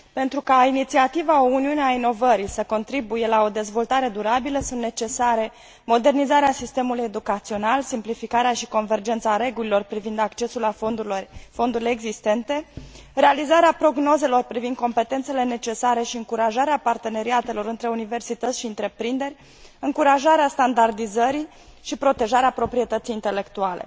Pentru ca inițiativa O Uniune a inovării să contribuie la o dezvoltare durabilă sunt necesare modernizarea sistemului educațional, simplificarea și convergența regulilor privind accesul la fondurile existente, realizarea prognozelor privind competențele necesare și încurajarea parteneriatelor între universități și întreprinderi, încurajarea standardizării și protejarea proprietății intelectuale.